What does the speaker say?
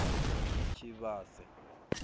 tshivhase